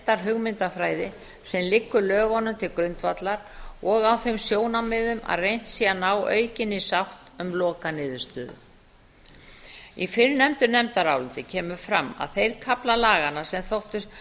þeirri heildarhugmyndafræði sem liggur lögunum til grundvallar og á þeim sjónarmiðum að reynt sé að ná aukinni sátt um lokaniðurstöðu í fyrrnefndu nefndaráliti kemur fram að þeir kaflar laganna sem þóttu